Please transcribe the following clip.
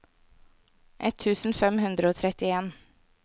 ett tusen fem hundre og trettien